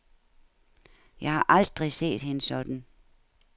Jeg har aldrig set hende sådan.